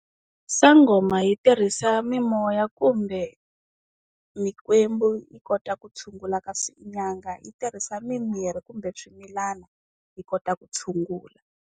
Sangoma yi tirhisa mimoya kumbe, mikwembu yi kota ku tshungula kasi nyanga yi tirhisa mimirhi kumbe swimilana, yi kota ku tshungula.